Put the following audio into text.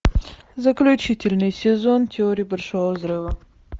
заключительный сезон теории большого взрыва